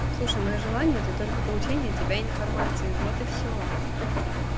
слушай моё желание это только получение от тебя информации вот и всё ха-ха